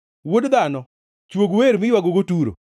“Wuod dhano, chwog wer miywagogo Turo.